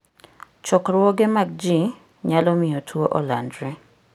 Chokruoge mag ji nyalo miyo tuwo olandre.